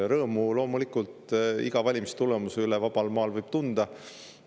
Rõõmu, loomulikult, võib vabal maal iga valimistulemuse üle tunda.